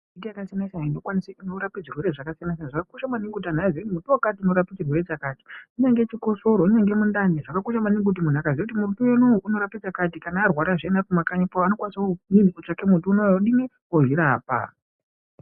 Miti yakasiyana siyana inokwanisa kurapa zvirwere zvakasiyana siyana. Zvakakosha maningi antu aziye kuti muti wakati unorapa chirwere chakati. Kunyange chikosoro, kunyange mundani. Zvakakosha maningi muntu akaziya kuti muti unowu unorapa chakati kana arwara zviyani ari kuma kanyi kwawo anokwanisa kutsvaka muti unowu. Odini? Ozvirapa.